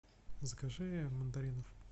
закажи мандаринов